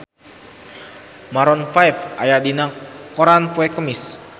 Maroon 5 aya dina koran poe Kemis